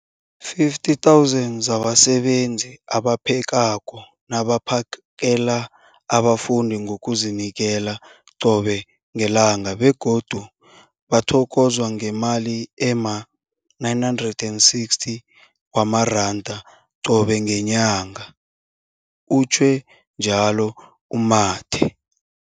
50 000 zabasebenzi abaphekako nabaphakela abafundi ngokuzinikela qobe ngelanga, begodu bathokozwa ngemali ema-960 wamaranda qobe ngenyanga, utjhwe njalo u-Mathe.